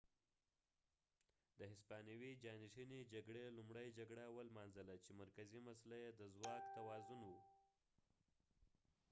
د هسپانوي جانشینۍ جګړې لومړۍ جګړه ولمانځله چې مرکزي مسله یې د ځواک توازن و